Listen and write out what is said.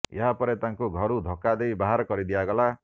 ଏହା ପରେ ତାଙ୍କୁ ଘରୁ ଧକ୍କା ଦେଇ ବାହାର କରି ଦିଆଗଲା